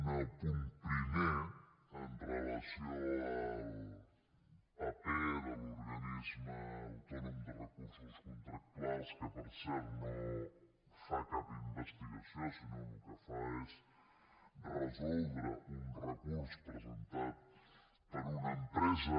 una el punt primer amb relació al paper de l’organisme autònom de recursos contractuals que per cert no fa cap investigació sinó que el que fa és resoldre un recurs presentat per una empresa